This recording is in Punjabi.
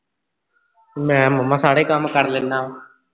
ਮੈਂ ਮਾਮਾ ਸਾਰੇ ਕੰਮ ਕਰ ਲੈਨਾ ਵਾਂ